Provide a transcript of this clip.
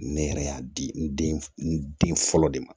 Ne yɛrɛ y'a di n den n den fɔlɔ de ma